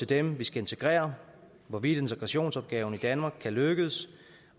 dem vi skal integrere hvorvidt integrationsopgaven i danmark kan lykkes